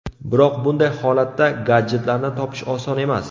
Biroq bunday holatda gadjetlarni topish oson emas.